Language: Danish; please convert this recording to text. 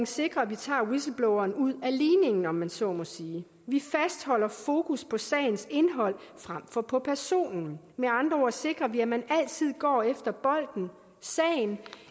sikre at vi tager whistlebloweren ud af ligningen om man så må sige vi fastholder fokus på sagens indhold frem for på personen med andre ord sikrer vi at man altid går efter bolden sagen